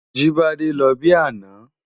Jibade lò bi àná